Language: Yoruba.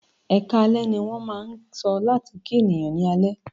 "Ẹkáalẹ́" ní wọ́n máà ń sọ láti kí ènìyàn ní alẹ́.